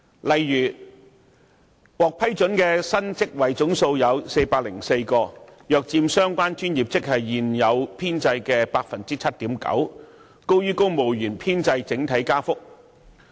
例如，獲批准的新職位總數有404個，約佔相關專業職系現有編制 7.9%， 增幅高於公務員編制整體增長。